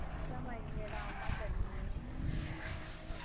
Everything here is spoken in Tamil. இல்ல மா இனிமே தான் அம்மா chutney செஞ்சிட்டு இருக்காங்க